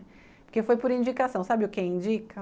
Porque foi por indicação, sabe o que indica?